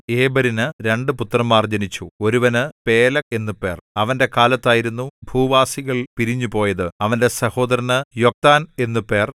ഏബെരിന് രണ്ടു പുത്രന്മാർ ജനിച്ചു ഒരുവന് പേലെഗ് എന്നു പേർ അവന്റെ കാലത്തായിരുന്നു ഭൂവാസികൾ പിരിഞ്ഞുപോയത് അവന്റെ സഹോദരന് യൊക്താൻ എന്നു പേർ